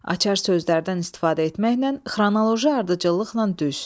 Açar sözlərdən istifadə etməklə xronoloji ardıcıllıqla düz.